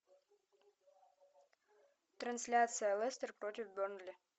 трансляция лестер против бернли